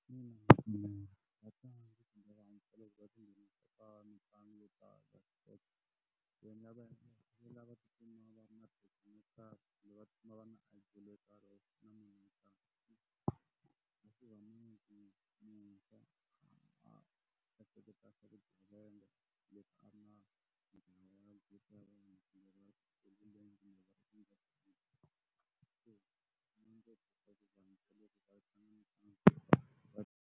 .